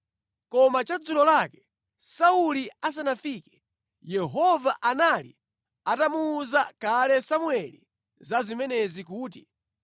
Koma chadzulo lake Sauli asanafike, Yehova anali atamuwuza kale Samueli za zimenezi kuti,